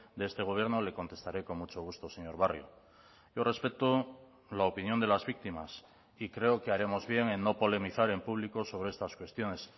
de este gobierno le contestaré con mucho gusto señor barrio yo respeto la opinión de las víctimas y creo que haremos bien en no polemizar en público sobre estas cuestiones